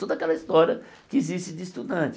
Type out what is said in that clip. Toda aquela história que existe de estudante.